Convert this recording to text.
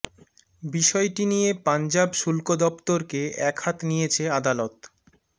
বিষয়টি নিয়ে পঞ্জাব শুল্ক দফতরকে এক হাত নিয়েছে আদালত